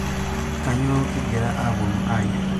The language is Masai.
kanyoo kigira aponu ayier